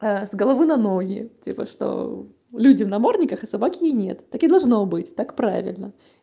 с головы на ноги типа что люди в намордниках а собаки нет так и должно быть так правильно